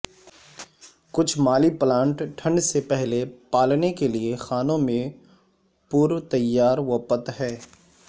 کچھ مالی پلانٹ ٹھنڈ سے پہلے پالنے کے لئے خانوں میں پرتیاروپت ہے